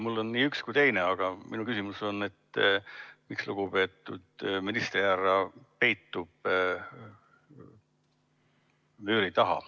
Mul on nii üks kui teine, aga minu küsimus on, miks lugupeetud ministrihärra peitub vööri taha.